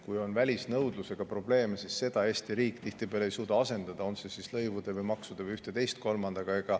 Kui on välisnõudlusega probleeme, siis seda Eesti riik tihtipeale ei suuda asendada, olgu lõivude, maksude või millegi kolmandaga.